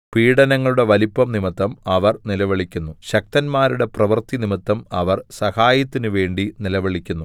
പീഡനങ്ങളുടെ വലിപ്പം നിമിത്തം അവർ നിലവിളിക്കുന്നു ശക്തന്മാരുടെ പ്രവൃത്തി നിമിത്തം അവർ സഹായത്തിനുവേണ്ടി നിലവിളിക്കുന്നു